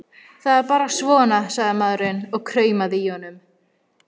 Það er bara svona, sagði maðurinn og kumraði í honum.